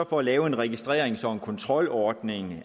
for at lave en registrering som en kontrolordning i